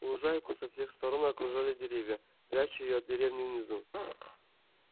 лужайку со всех сторон окружали деревья пряча её от деревни внизу